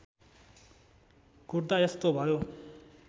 कुट्दा यस्तो भयो